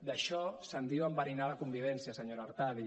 d’això se’n diu enverinar la convivència senyora artadi